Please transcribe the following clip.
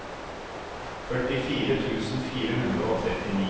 førtifire tusen fire hundre og trettini